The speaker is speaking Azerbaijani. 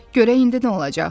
Görək indi nə olacaq?